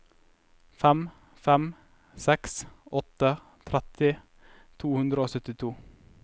fem fem seks åtte tretti to hundre og syttito